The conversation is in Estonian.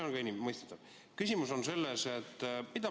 Arusaadav, see on mõistetav.